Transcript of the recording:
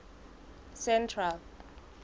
central